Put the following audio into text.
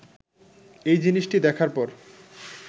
এ জিনিসটি দেখার পর